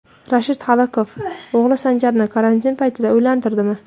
Rashid Holiqov o‘g‘li Sanjarni karantin paytida uylantirdimi?